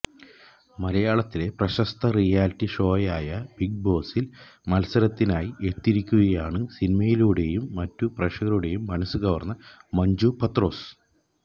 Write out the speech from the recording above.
മലയാളത്തിലെ പ്രശസ്ത റിയാലിറ്റി ഷോയായ ബിഗ് ബോസിൽ മത്സരത്തിനായി എത്തിയിരിക്കുകയാണ് സിനിമയിലൂടെയും മറ്റും പ്രേക്ഷകരുടെ മനസ് കവർന്ന മഞ്ജു പത്രോസ്